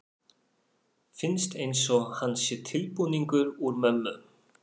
Finnst einsog hann sé tilbúningur úr mömmu.